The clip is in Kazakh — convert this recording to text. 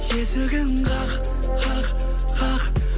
есігін қақ қақ қақ